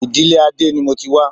Ìdílé Adé ni mo ti wá